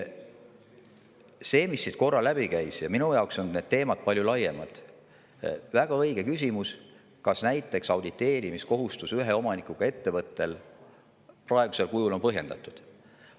See, mis siin korra läbi käis – ja minu jaoks on see teema palju laiem –, on väga õige küsimus, kas näiteks ühe omanikuga ettevõtte auditeerimiskohustus praegusel kujul on põhjendatud.